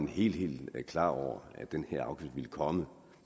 helt helt klar over at den her afgift ville komme